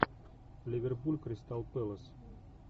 ливерпуль кристал пэлас